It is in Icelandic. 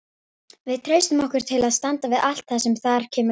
Við treystum okkur til að standa við allt það sem þar kemur fram.